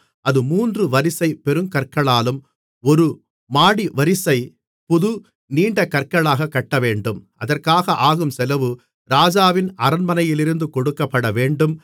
அது மூன்று வரிசை பெருங்கற்களாலும் ஒரு மாடிவரிசை புது நீண்டகற்களாக கட்டவேண்டும் அதற்காக ஆகும் செலவு ராஜாவின் அரண்மனையிலிருந்து கொடுக்கப்படவேண்டும்